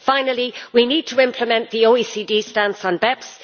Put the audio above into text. Finally, we need to implement the OECD stance on BEPS.